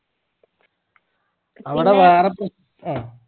അവ്ടെ വേറെ പ്ര അഹ്